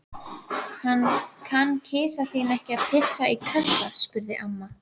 Kann kisa þín ekki að pissa í kassa? spurði amma.